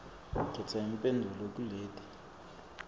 khetsa imphendvulo kuleti